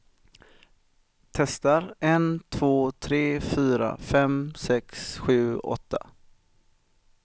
Testar en två tre fyra fem sex sju åtta.